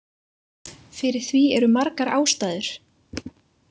Fyrir því eru margar ástæður.